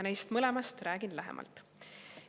Neist mõlemast räägin lähemalt.